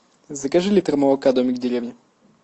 закажи литр молока домик в деревне